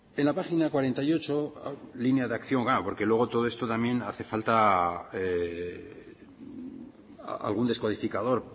en la página cuarenta y ocho línea de acción claro porque luego todo esto también hace falta algún descodificador